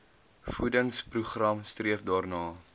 voedingsprogram streef daarna